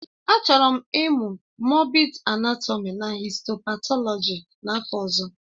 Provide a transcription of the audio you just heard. Achọrọ m ịmụ moobid anátọmi na histo-patọlọji n'afọ ọzọ